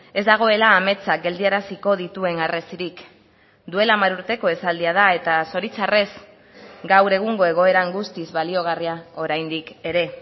ez dagoela ametsa geldiaraziko dituen harresirik duela hamar urteko esaldia da eta zoritxarrez gaur egungo egoeran guztiz baliogarria oraindik ere